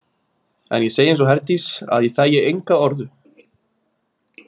En ég segi eins og Herdís að ég þægi enga orðu.